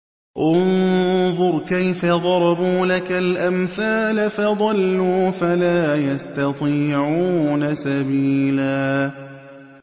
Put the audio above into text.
انظُرْ كَيْفَ ضَرَبُوا لَكَ الْأَمْثَالَ فَضَلُّوا فَلَا يَسْتَطِيعُونَ سَبِيلًا